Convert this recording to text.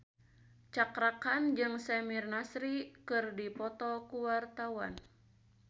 Cakra Khan jeung Samir Nasri keur dipoto ku wartawan